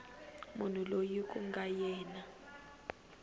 munhu loyi ku nga yena